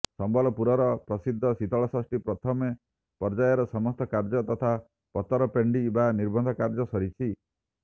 ସମ୍ବଲପୁରର ପ୍ରସିଦ୍ଧ ଶୀତଳଷଷ୍ଠୀ ପ୍ରଥମ ପର୍ଯ୍ୟାୟର ସମସ୍ତ କାର୍ଯ୍ୟ ତଥା ପତର ପେଣ୍ତି ବା ନିର୍ବନ୍ଧ କାର୍ଯ୍ୟ ସରିଛି